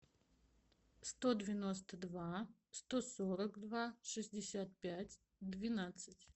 сто девяносто два сто сорок два шестьдесят пять двенадцать